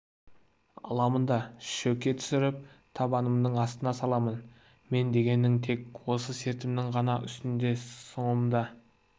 да шөке түсіріп табанымның астына саламын мен дегенің тек осы сертімнің ғана үстінде соңымда